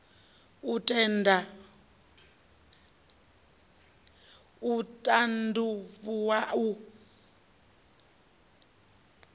u t and avhuwa u